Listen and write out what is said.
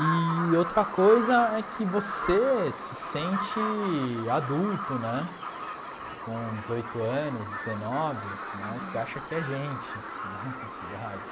Eee outra coisa é que você se sente adulto né, com dezoito anos, dezenove né, você acha que é gente né nessa idade.